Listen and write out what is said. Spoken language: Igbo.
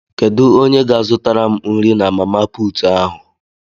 Kedu onye ga zụtara m nri na mama puutụ ahu?